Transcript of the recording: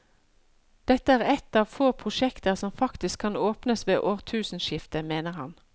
Dette er et av få prosjekter som faktisk kan åpnes ved årtusenskiftet, mener han.